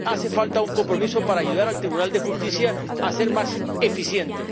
Hace falta un compromiso para ayudar al Tribunal de Justicia a ser más eficiente.